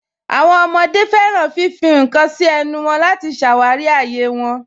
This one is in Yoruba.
Àwọn ọmọde fẹ́ràn fífì àwọn nkan sí ẹ̀nù wọn láti ṣáwárí ayé wọn.